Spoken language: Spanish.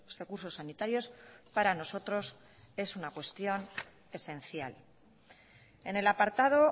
recursos sanitarios para nosotros es una cuestión esencial en el apartado